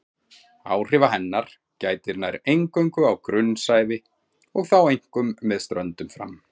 Áhrifa hennar gætir nær eingöngu á grunnsævi og þá einkum með ströndum fram.